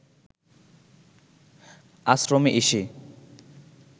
আশ্রমে এসে